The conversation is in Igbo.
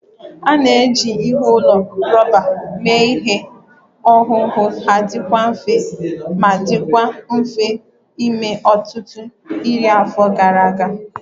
A na-eji ụlọ rọba mee ihe owuwu ha dị mfe ma dịkwa mfe ime ọtụtụ iri afọ gara aga